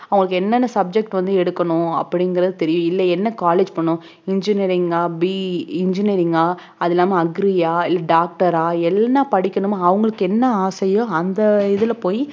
அவங்களுக்கு என்னென்ன subject வந்து எடுக்கணும் அப்படிங்கறது தெரியும் இல்ல என்ன college போணும் engineering ஆ BE engineering ஆ அது இல்லாம agri ஆ இல்ல doctor ஆ என்ன படிக்கணுமோ அவங்களுக்கு என்ன ஆசையோ அந்த இதுல போய்